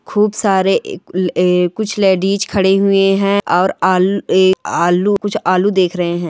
खूब सारे अ एक कुछ अ लेडीस खड़े हुए हैं और अल ए आलू आलू कुछ आलू देख रहे हैं।